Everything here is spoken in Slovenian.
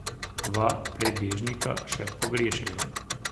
Dva prebežnika še pogrešajo.